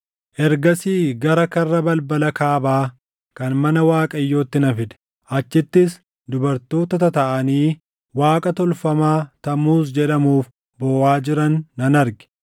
Ergasii gara karra balbala kaabaa kan mana Waaqayyootti na fide; achittis dubartoota tataaʼanii waaqa tolfamaa Tamuuz jedhamuuf booʼaa jiran nan arge.